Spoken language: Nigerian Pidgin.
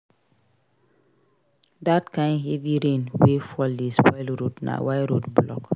Dat kain heavy rain wey fall dey spoil road na why road block.